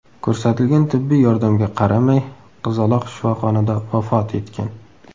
Ko‘rsatilgan tibbiy yordamga qaramay, qizaloq shifoxonada vafot etgan.